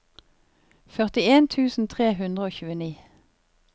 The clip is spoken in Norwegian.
førtien tusen tre hundre og tjueni